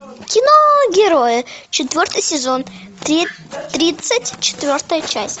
кино герои четвертый сезон тридцать четвертая часть